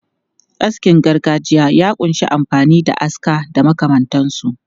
Askin gargajiya ya kunshi amfani da aska da makamantansu.